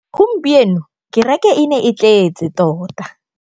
Gompieno kêrêkê e ne e tletse tota.